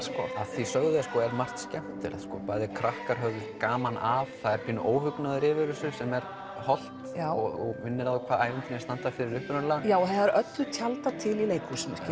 að því sögðu er margt skemmtilegt bæði krakkar höfðu gaman af það er pínu óhugnaður yfir þessu sem er hollt og minnir á hvað ævintýri standa fyrir upprunalega og öllu tjaldað til í leikhúsinu